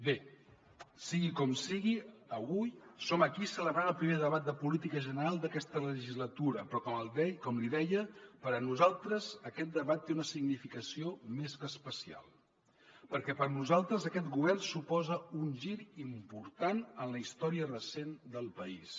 bé sigui com sigui avui som aquí celebrant el primer debat de política general d’aquesta legislatura però com li deia per a nosaltres aquest debat té una significació més que especial perquè per nosaltres aquest govern suposa un gir important en la història recent del país